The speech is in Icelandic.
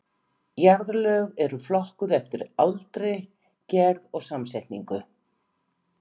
Jarðlög eru flokkuð eftir aldri, gerð og samsetningu.